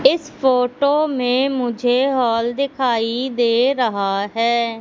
इस फोटो में मुझे हॉल दिखाई दे रहा हैं।